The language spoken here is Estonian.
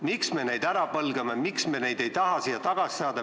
Miks me nad ära põlgame, miks me ei taha neid tagasi saada?